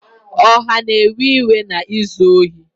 Ọha na-ewe iwe na izu ohi